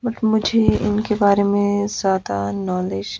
but मुझे उनके बारे में ज्यादा नॉलेज --